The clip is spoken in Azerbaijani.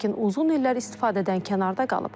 Lakin uzun illər istifadədən kənarda qalıb.